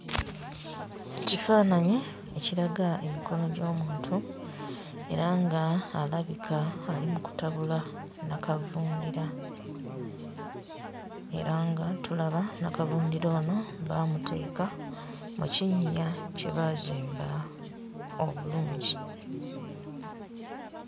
Kifaananyi ekiraga emikono gy'omuntu era nga alabika ali mu kutabula nnakavundira era nga tulaba nnakavundira ono baamuteeka mu kinnya kye baazimba obulungi.